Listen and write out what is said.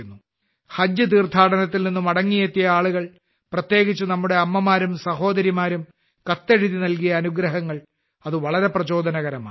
ഹജ്ജ് തീർഥാടനത്തിൽ നിന്ന് മടങ്ങിയെത്തിയ ആളുകൾ പ്രത്യേകിച്ച് നമ്മുടെ അമ്മമാരും സഹോദരിമാരും കത്തെഴുതി നൽകിയ അനുഗ്രഹങ്ങൾ അതുതന്നെ വളരെ പ്രചോദനകരമാണ്